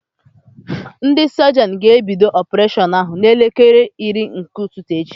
Ndị sọjịọn ga-ebido ọpureshọn ahụ n'elekere iri nke ụtụtụ echi.